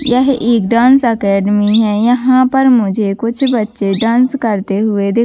यह एक dance academy है यहाँ पर मुझे कुछ बच्चे डांस करते हुए दिख--